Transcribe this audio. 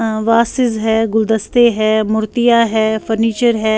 .ا واسس ہیں گول دستے ہیں مرتیہ ہیں فرنیچر ہیں